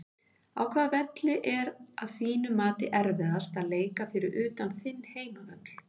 Á hvaða velli er að þínu mati erfiðast að leika fyrir utan þinn heimavöll?